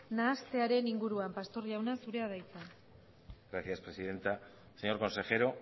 nahastearen inguruan pastor jauna zurea da hitza gracias presidenta señor consejero